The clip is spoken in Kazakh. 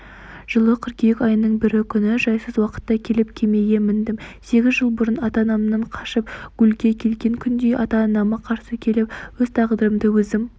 жылы қыркүйек айының бірі күні жайсыз уақытта келіп кемеге міндім сегіз жыл бұрын ата-анамнан қашып гулльге келген күндей ата-анама қарсы келіп өз тағдырымды өзім